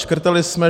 Škrtali jsme.